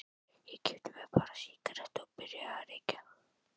Ég keypti mér bara sígarettur og byrjaði að reykja.